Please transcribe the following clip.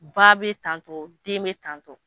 Ba bɛ tantɔ den bɛ tantɔ.